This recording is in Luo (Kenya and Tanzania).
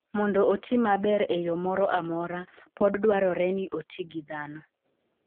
Mondo oti maber e yo moro amora, pod dwarore ni oti gi dhano.